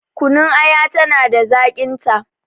Kunun aya tana da zaƙin ta